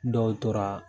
Dɔw tora